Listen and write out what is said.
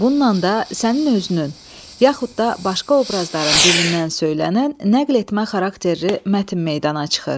Bununla da sənin özünün, yaxud da başqa obrazların dilindən söylənən nəql etmə xarakterli mətn meydana çıxır.